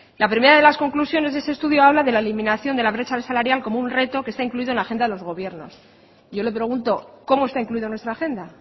la primera de las conclusiones de ese estudio habla de la eliminación de la brecha salarial como un reto que está incluido en la agenda de los gobiernos yo le pregunto cómo está incluido en nuestra agenda